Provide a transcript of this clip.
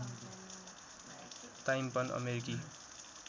time पन अमेरिकी